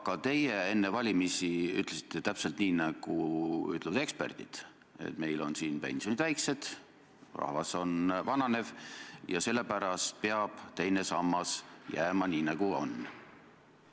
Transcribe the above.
Aga teie ütlesite enne valimisi täpselt nii, nagu ütlevad eksperdid, et meil on pensionid väiksed, rahvas on vananev ja sellepärast peab teine sammas jääma nii, nagu on.